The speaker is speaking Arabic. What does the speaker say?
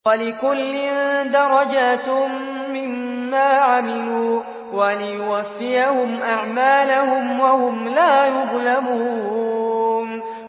وَلِكُلٍّ دَرَجَاتٌ مِّمَّا عَمِلُوا ۖ وَلِيُوَفِّيَهُمْ أَعْمَالَهُمْ وَهُمْ لَا يُظْلَمُونَ